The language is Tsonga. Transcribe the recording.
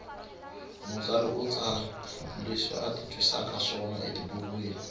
mutsari u tsara leswi ati twisakaswona etibukwini